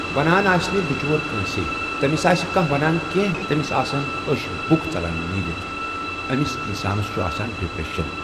وَنان آسہِ نہٕ بچور کٲنٛسٕے تٔمِس آسہِ کانٛہہ وَنان کٮ۪نٛہہ تٔمِس آسن اوٚش بُکھ ژَلان نیٖرِتھ أمِس انسانَس چھُ آسان ڈپرٮ۪شن۔